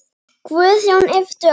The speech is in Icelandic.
Guðjón yppti öxlum.